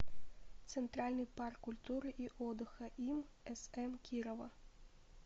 центральный парк культуры и отдыха им см кирова